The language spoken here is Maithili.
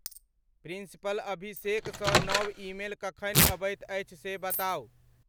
प्रिंसिपल अभिषेक सॅ नव ईमेल कखनि अबइत अछि से बताउ।